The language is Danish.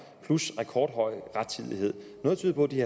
plus rekordhøj rettidighed noget tyder på at de